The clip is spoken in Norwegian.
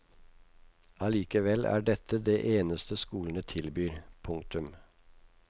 Allikevel er dette det eneste skolene tilbyr. punktum